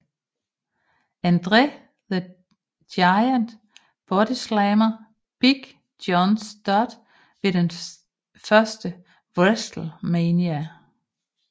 André the Giant bodyslammede Big John Studd ved den første WrestleMania